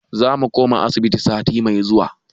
Za mu koma asibiti sati mai zuwa.